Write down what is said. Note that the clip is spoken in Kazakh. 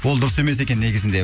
ол дұрыс емес екен негізінде